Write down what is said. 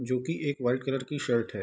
जो की एक व्हाइट कलर की शर्ट है।